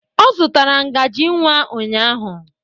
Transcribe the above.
Ọ zụtara ngaji nwa ụnyahụ.